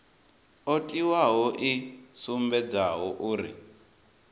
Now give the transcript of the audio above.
o tiwaho i sumbedzaho uri